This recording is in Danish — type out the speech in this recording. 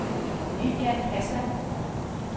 Lilian Hassan